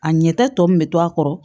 A ɲɛta tɔ min bɛ to a kɔrɔ